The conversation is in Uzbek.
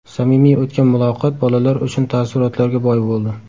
Samimiy o‘tgan muloqot bolalar uchun taassurotlarga boy bo‘ldi.